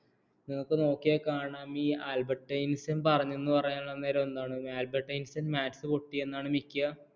നമുക്ക് നോക്കിയാൽ കാണാം ഈ ആൽബർട്ട് ഐൻസ്റ്റീൻ പറഞ്ഞെന്ന് പറയണത് അന്നേരം എന്താണ് ആൽബർട്ട് ഐൻസ്റ്റീൻ maths പൊട്ടി എന്നാണ് മിക്ക